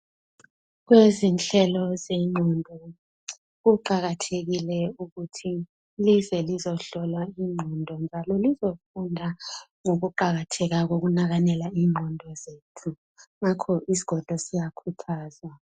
Kwebezihlelo zengqondo, kuqakathekile ukuthi lize lizohlola ingqondo njalo lizofunda ngokuqakatheka kokunakakela ingqondo zethu, ngakho isgodlo siya uyakuthaza.